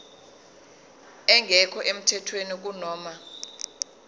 engekho emthethweni kunoma